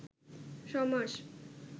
সমাস